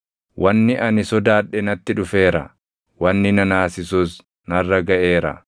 Wanni ani sodaadhe natti dhufeera; wanni na naasisus narra gaʼeera.